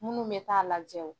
Minnu bɛ taa lajɛ o,